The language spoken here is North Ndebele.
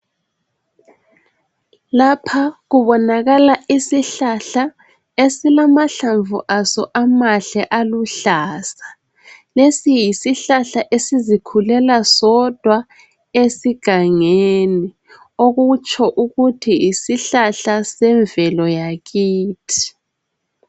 Lapha kubonakala isihlahla esilamahlamvu aso amahle aluhlaza, lesi yisihlahla sizizikhulela sodwa egangeni okutsho ukuthi yisihlahla semvelo yakithi.